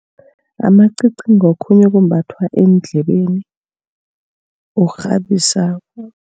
Amacici ngokhunye okumbathwa eendlebeni okukghabisako.